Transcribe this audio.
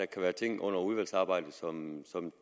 kan være ting under udvalgsarbejdet som